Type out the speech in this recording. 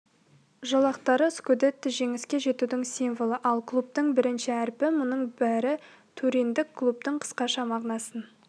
жолақтары скудетто жеңіске жетудің символы ал клубтың бірінші әрпі мұның бәрі туриндік клубтың қысқаша мағынасын